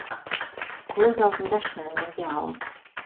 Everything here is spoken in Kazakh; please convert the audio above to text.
көз алдында шынымен де ауыл